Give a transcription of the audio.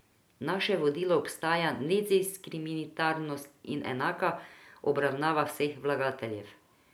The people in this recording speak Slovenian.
Naše vodilo ostaja nediskriminatornost in enaka obravnava vseh vlagateljev.